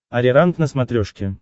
ариранг на смотрешке